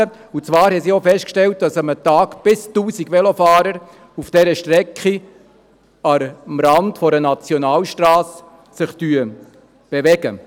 Sie hat auch festgestellt, dass sich an einem Tag bis zu 1000 Velofahrer auf dieser Strecke am Rand einer Nationalstrasse bewegen.